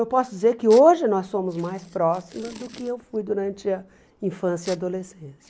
Eu posso dizer que hoje nós somos mais próximas do que eu fui durante a infância e adolescência.